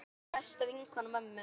Dúna var besta vinkona mömmu.